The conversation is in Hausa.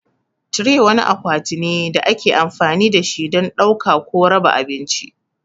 Tire wani akwati ne da ake amfani da shi don ɗauka ko raba abinci.